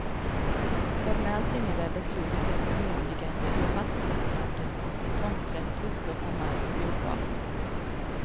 Formellt innebär beslutet ett bemyndigande för fastighetsnämnden att med tomträtt upplåta mark för biografen.